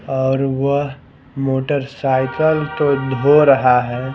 और वह मोटरसाइकिल तो धो रहा है ।